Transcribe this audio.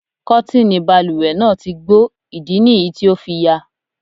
Kọ́tìnì balùwẹ̀ náà ti gbó, ìdí nìyí tí o fi yà.